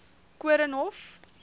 koornhof